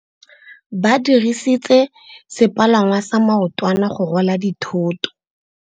Ba dirisitse sepalangwasa maotwana go rwala dithôtô.